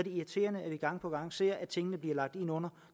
irriterende at vi gang på gang ser at tingene bliver lagt ind under